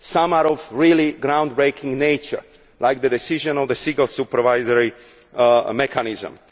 Some are of a really groundbreaking nature, like the decision on the single supervisory mechanism.